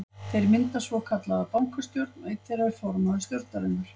Þeir mynda svokallaða bankastjórn og er einn þeirra formaður stjórnarinnar.